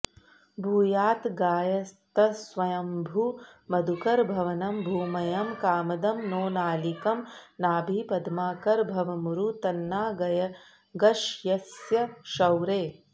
भूयात्गायत्स्वयंभूमधुकरभवनं भूमयं कामदं नो नालीकं नाभिपद्माकरभवमुरु तन्नागशय्यस्य शौरेः